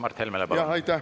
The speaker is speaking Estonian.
Aitäh!